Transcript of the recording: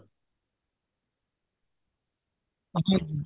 ਅੱਛਾ ਜੀ